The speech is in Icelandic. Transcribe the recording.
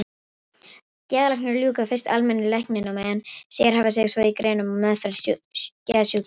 Geðlæknar ljúka fyrst almennu læknanámi en sérhæfa sig svo í greiningu og meðferð geðsjúkdóma.